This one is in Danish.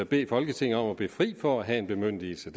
bede folketinget om at blive fri for at have en bemyndigelse